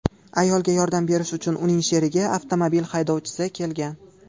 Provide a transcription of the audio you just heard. Ayolga yordam berish uchun uning sherigi avtomobil haydovchisi kelgan.